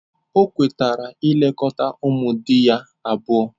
O kwetara ilekọta ụmụ di ya abụọ.